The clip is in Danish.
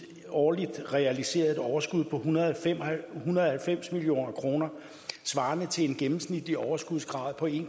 årligt realiseret et overskud på en hundrede og halvfems million kroner svarende til en gennemsnitlig overskudsgrad på en